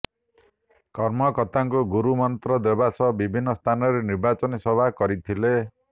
କର୍ମକର୍ତ୍ତାଙ୍କୁ ଗୁରୁମନ୍ତ୍ର ଦେବା ସହ ବିଭିନ୍ନ ସ୍ଥାନରେ ନିର୍ବାଚନୀ ସଭା କରିଥିଲେ